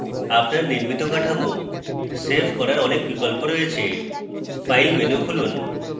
আপনার নির্মিত কাঠামো save করার অনেক বিকল্প রয়েছে file menu খুলুন